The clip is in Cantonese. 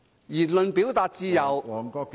言論表達自由......